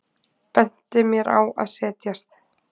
Benti mér að setjast.